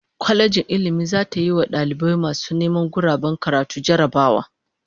Kwalejin Ilmin zata yiwa dalibai masu neman guraben karatu jarrabawa